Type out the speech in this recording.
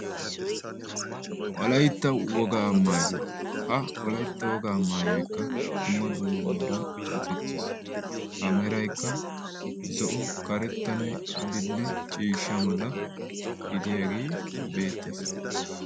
wolaytta wogaa maayuwaa. ha wolaytta wogaa maayoykka dumma dumma meran oosettis. ha meraykka zo7o, karettanne adille ciishsha mala gidiyaagee beettees.